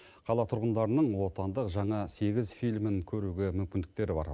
қала тұрғындарының отандық жаңа сегіз фильмін көруге мүмкіндіктері бар